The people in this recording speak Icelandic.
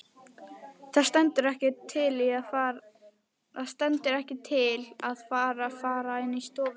Það stendur ekkert til að það fari inn í stofu.